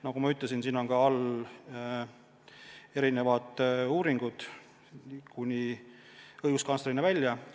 Nagu ma ütlesin, on tehtud erinevaid uuringuid kuni õiguskantslerini välja.